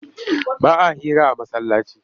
Ba a hira a masallaci